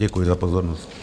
Děkuji za pozornost.